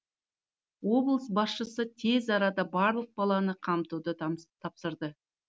облыс басшысы тез арада барлық баланы қамтуды тапсырды